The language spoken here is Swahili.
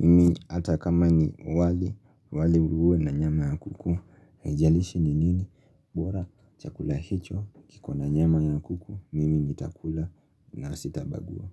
Mimi hata kama ni wali, wali uwe na nyama ya kuku. Haijalishi ni nini? Bora chakula hicho kiwe na nyama ya kuku. Mimi nitakula na sitabagua.